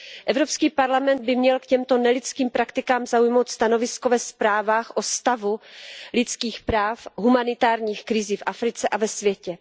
Evropský parlament by měl k těmto nelidským praktikám zaujmout stanovisko ve zprávách o stavu lidských práv, o humanitární krizi v Africe a ve světě.